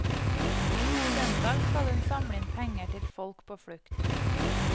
Søndag skal hun samle inn penger til folk på flukt.